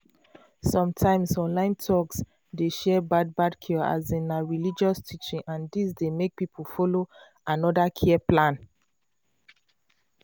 sometimes online talks dey share bad bad cure as in na religious teaching and dis dey make people follow another care plan.